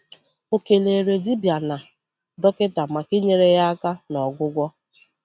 Ọ keleere dibịa na dọkịta maka inyere ya aka n’ọgwụgwọ.